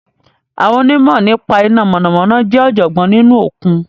Àwọn onímọ̀ nípa iná mọ̀nàmọ́ná jẹ́ ọ̀jọ̀gbọ́n nínú okùn